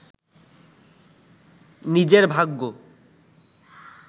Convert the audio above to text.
নিজের ভাগ্য